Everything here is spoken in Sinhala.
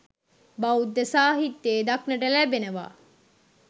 බෞද්ධ සාහිත්‍යයේ දක්නට ලැබෙනවා.